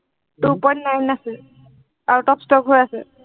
two point nine আছে, out of stock হৈ আছে।